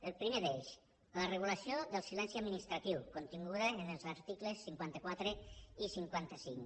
el primer d’ells la regulació del silenci administratiu continguda en els articles cinquanta quatre i cinquanta cinc